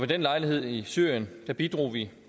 den lejlighed i syrien bidrog vi